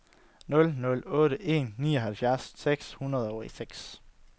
nul nul otte en nioghalvfjerds seks hundrede og seks